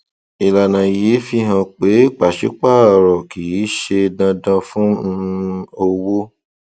ìlànà yìí fi hàn pé pàṣípààrọ kì í ṣe dandan fún um owó